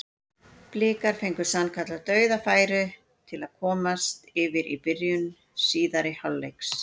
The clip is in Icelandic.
Blikar fengu sannkallað dauðafæri til að komast yfir í byrjun síðari hálfleiks.